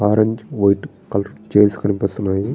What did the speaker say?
Orange white colour chairs కనిపిస్తున్నాయి.